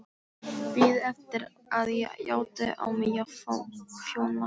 Biðu eftir að ég játaði á mig þjófnaðinn.